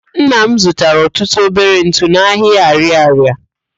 Nna m zụtara ọtụtụ obere ntụ n'ahịa Arịarịa.